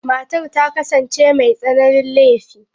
Matar ta kasance mai tsananin laifi.